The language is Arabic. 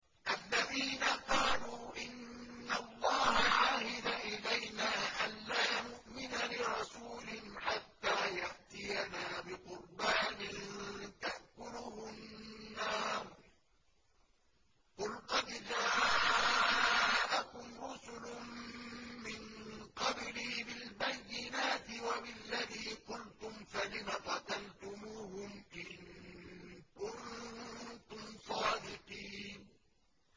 الَّذِينَ قَالُوا إِنَّ اللَّهَ عَهِدَ إِلَيْنَا أَلَّا نُؤْمِنَ لِرَسُولٍ حَتَّىٰ يَأْتِيَنَا بِقُرْبَانٍ تَأْكُلُهُ النَّارُ ۗ قُلْ قَدْ جَاءَكُمْ رُسُلٌ مِّن قَبْلِي بِالْبَيِّنَاتِ وَبِالَّذِي قُلْتُمْ فَلِمَ قَتَلْتُمُوهُمْ إِن كُنتُمْ صَادِقِينَ